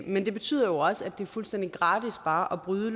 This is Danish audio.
men det betyder jo også at det er fuldstændig gratis bare at bryde